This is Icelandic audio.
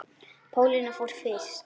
Pálína fór fyrst.